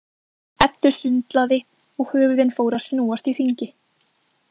Eddu sundlaði og höfuðin fóru að snúast í hringi.